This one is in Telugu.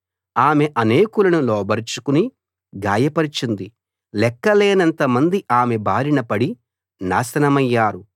ఆమె అనేకులను లోబరచుకుని గాయపరచింది లెక్కలేనంతమంది ఆమె బారిన పడి నాశనమయ్యారు